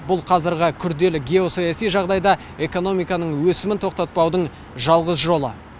бұл қазіргі күрделі геосаяси жағдайда экономиканың өсімін тоқтатпаудың жалғыз жолы